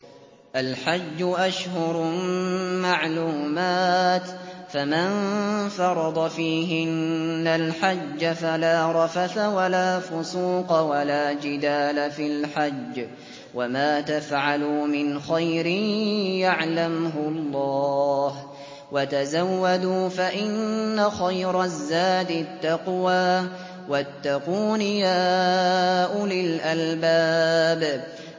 الْحَجُّ أَشْهُرٌ مَّعْلُومَاتٌ ۚ فَمَن فَرَضَ فِيهِنَّ الْحَجَّ فَلَا رَفَثَ وَلَا فُسُوقَ وَلَا جِدَالَ فِي الْحَجِّ ۗ وَمَا تَفْعَلُوا مِنْ خَيْرٍ يَعْلَمْهُ اللَّهُ ۗ وَتَزَوَّدُوا فَإِنَّ خَيْرَ الزَّادِ التَّقْوَىٰ ۚ وَاتَّقُونِ يَا أُولِي الْأَلْبَابِ